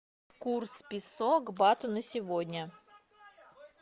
курс песо к бату на сегодня